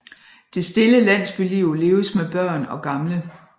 Det stille landsbyliv leves med børn og gamle